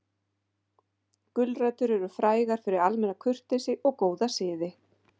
Gulrætur eru frægar fyrir almenna kurteisi og góða siði.